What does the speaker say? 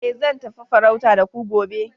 eh zan tafi farauta da ku gobe